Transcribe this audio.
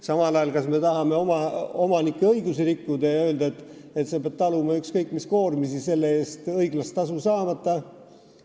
Samal ajal, kas me tahame omanike õigusi rikkuda ja öelda, omanik peab taluma ükskõik mis koormisi selle eest õiglast tasu saamata?